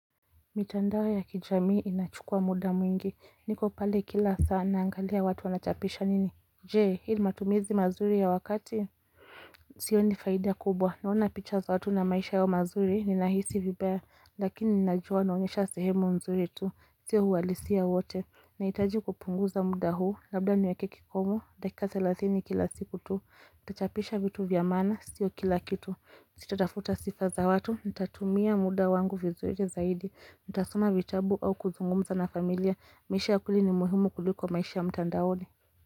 Mitandao ya kijamii inachukua muda mwingi niko pale kila saa naangalia watu wanachapisha nini Je hii matumizi mazuri ya wakati Sioni faida kubwa naona picha za watu na maisha yao mazuri ninahisi vibaya lakini ninajua naonyesha sehemu nzuri tu sio uhalisia wote Naitaji kupunguza muda huu, labda niweke kikomo, dakika thelathini kila siku tu, itachapisha vitu vya masna, sio kila kitu, sitatafuta sifa za watu, ntatumia muda wangu vizuri zaidi, nitasoma vitabu au kuzungumza na familia, maisha ya kweli ni muhimu kuliko maisha ya mtandaoni.